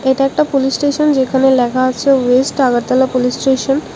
এটা একটা police station যেখানে লেখা আছে West Agartala Agartala police station.